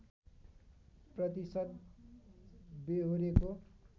प्रतिशत बेहोरेको